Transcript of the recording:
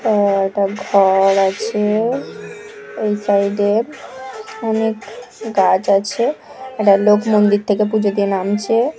অ্যা একটা ঘ-ও-র আছে-এ ওই সাইড এর অনেক গাছ আছে একটা লোক মন্দির থেকে পুজো দিয়ে নামছে-এ ।